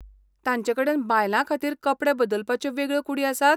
तांचेकडेन बायलांखातीर कपडे बदलपाच्यो वेगळ्यो कूडी आसात?